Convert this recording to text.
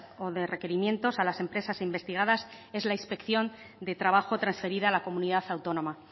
o de requerimientos a las empresas investigadas es la inspección de trabajo transferida a la comunidad autónoma